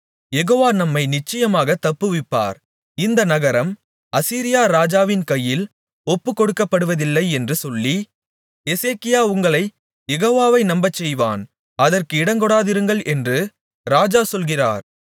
யெகோவா நம்மை நிச்சயமாகத் தப்புவிப்பார் இந்த நகரம் அசீரியா ராஜாவின் கையில் ஒப்புக்கொடுக்கப்படுவதில்லை என்று சொல்லி எசேக்கியா உங்களைக் யெகோவாவை நம்பச்செய்வான் அதற்கு இடங்கொடாதிருங்கள் என்று ராஜா சொல்கிறார்